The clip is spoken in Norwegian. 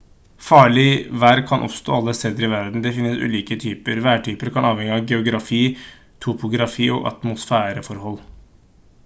farlig vær kan oppstå alle steder i verden det finnes ulike typer værtyper kan avhenge av geografi topografi og atmosfæreforhold